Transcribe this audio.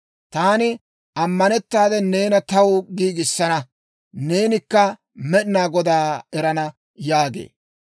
taani ammanettaade neena taw giigissana. Neenikka Med'inaa Godaa erana» yaagee.